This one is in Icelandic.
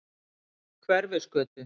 Hverfisgötu